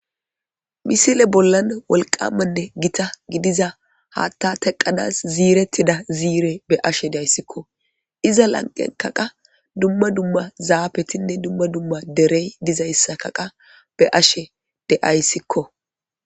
Misile bollan wolqamanne gita gidiza haatta teqadas ziiretida ziire be ashe dayssikko iza lanqenkaqa dumma dumma zaafetinne dumma dumma derey dizayssakaqa be ashe de7ayssikko